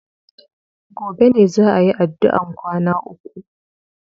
Gobe ne za a yi addu'an kwana uku.